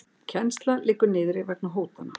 Kennsla liggur niðri vegna hótana